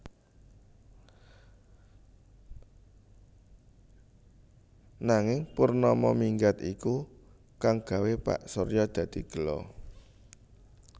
Nanging Purnama minggat iku kang gawé Pak Surya dadi gela